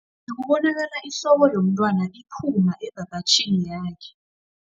Bekubonakala ihloko yomntwana iphuma ebhabhatjhini yakhe.